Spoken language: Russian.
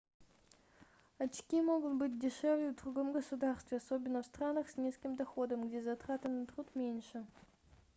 очки могут быть дешевле в другом государстве особенно в странах с низким доходом где затраты на труд меньше